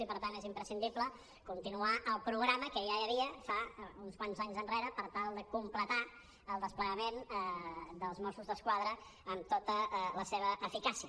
i per tant és imprescindible continuar el programa que ja hi havia fa uns quants anys per tal de completar el desplegament dels mossos d’esquadra amb tota la seva eficàcia